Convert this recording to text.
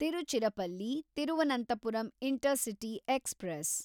Tiruchirappalli Thiruvananthapuram intercity express